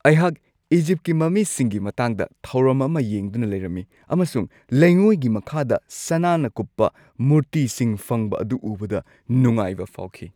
ꯑꯩꯍꯥꯛ ꯏꯖꯤꯞꯀꯤ ꯃꯃꯤꯁꯤꯡꯒꯤ ꯃꯇꯥꯡꯗ ꯊꯧꯔꯝ ꯑꯃ ꯌꯦꯡꯗꯨꯅ ꯂꯩꯔꯝꯃꯤ ꯑꯃꯁꯨꯡ ꯂꯩꯉꯣꯏꯒꯤ ꯃꯈꯥꯗ ꯁꯅꯥꯅ ꯀꯨꯞꯄ ꯃꯨꯔꯇꯤꯁꯤꯡ ꯐꯪꯕ ꯑꯗꯨ ꯎꯕꯗ ꯅꯨꯡꯉꯥꯏꯕ ꯐꯥꯎꯈꯤ꯫